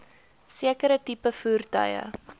sekere tipe voertuie